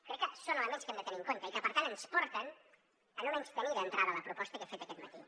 crec que són elements que hem de tenir en compte i que per tant ens porten a no menystenir d’entrada la proposta que he fet aquest matí